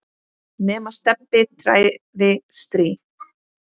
nema Stebbi træði strý.